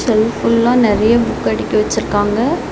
Self ஃபுல்லா நெறைய book அடிக்கி வச்சிருக்காங்க.